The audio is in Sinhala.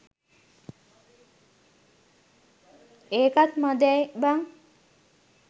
ඒකත් මදැයි බං.